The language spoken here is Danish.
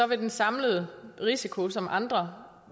vil den samlede risiko som andre